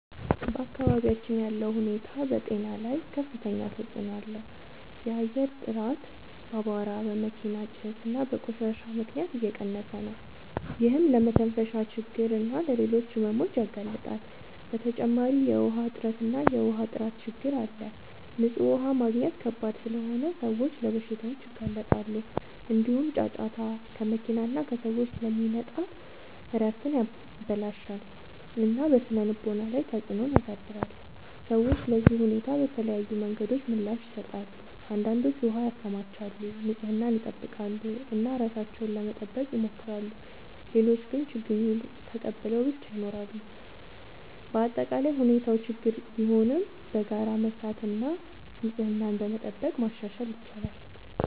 በአካባቢያችን ያለው ሁኔታ በጤና ላይ ከፍተኛ ተጽዕኖ አለው። የአየር ጥራት በአቧራ፣ በመኪና ጭስ እና በቆሻሻ ምክንያት እየቀነሰ ነው፤ ይህም ለመተንፈሻ ችግኝ እና ለሌሎች ሕመሞች ያጋልጣል። በተጨማሪ የውሃ እጥረት እና የውሃ ጥራት ችግኝ አለ፤ ንጹህ ውሃ ማግኘት ከባድ ስለሆነ ሰዎች ለበሽታዎች ይጋለጣሉ። እንዲሁም ጫጫታ ከመኪና እና ከሰዎች ስለሚመጣ እረፍትን ያበላሽታል እና በስነ-ልቦና ላይ ተጽዕኖ ያሳድራል። ሰዎች ለዚህ ሁኔታ በተለያዩ መንገዶች ምላሽ ይሰጣሉ። አንዳንዶች ውሃ ያከማቻሉ፣ ንጽህናን ይጠብቃሉ እና ራሳቸውን ለመጠበቅ ይሞክራሉ። ሌሎች ግን ችግኙን ተቀብለው ብቻ ይኖራሉ። በአጠቃላይ ሁኔታው ችግኝ ቢሆንም በጋራ በመስራት እና ንጽህናን በመጠበቅ ማሻሻል ይቻላል።